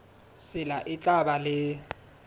tsela e tla ba le